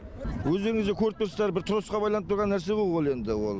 өздеріңіз де көріп тұрсыздар бір троссқа байланып тұрған нәрсе ғо ол енді ол